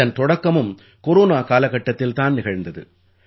இதன் தொடக்கமும் கொரோனா காலகட்டத்தில் தான் நிகழ்ந்தது